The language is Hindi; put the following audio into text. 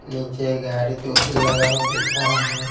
नीचे गाड़ी दो-तीन लगा हुआ दिख रहा है।